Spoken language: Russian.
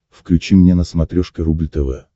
включи мне на смотрешке рубль тв